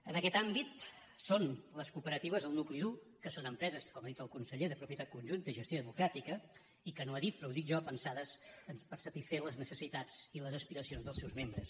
en aquest àmbit són les cooperatives el nucli dur que són empreses com ha dit el conseller de propietat conjunta i gestió democràtica i que no ho ha dit però ho dic jo pensades per satisfer les necessitats i les aspiracions dels seus membres